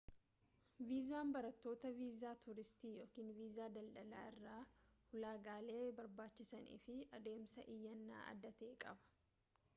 viizaan barattootaa viizaa tuuristii ykn viisaa daldalaa irraa ulaagaalee barbaachisanii fi adeemsa iyyannaa adda ta'ee qaba